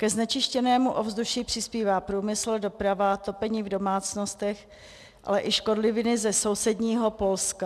Ke znečištěnému ovzduší přispívá průmysl, doprava, topení v domácnostech, ale i škodliviny ze sousedního Polska.